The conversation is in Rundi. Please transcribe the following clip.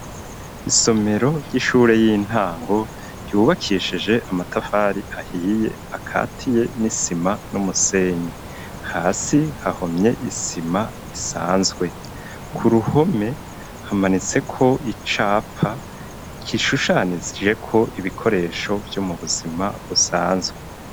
Isomero ry'ishure y'intango ryubakishije amatafari ahiye akatiye n'isima n'umusenyi hasi hahomye isima isanzwe. Ku ruhome hamanitse ko icapa kishushanije ko ibikoresho vyo mu buzima busanzwe.